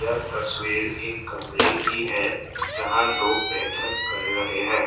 तस्वीर एक कमरे की है जहां लोग बैठक कर रहे हैं।